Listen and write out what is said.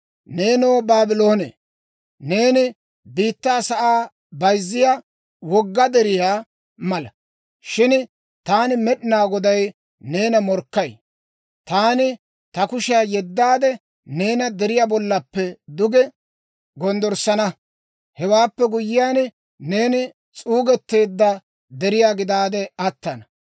«Neenoo, Baabloone, neeni biittaa sa'aa bayzziyaa wogga deriyaa mala; shin taani Med'inaa Goday neena morkkay. Taani ta kushiyaa yeddaade, neena deriyaa bollappe duge gonddorssana; hewaappe guyyiyaan, neeni s'uugeteedda deriyaa gidaade attana.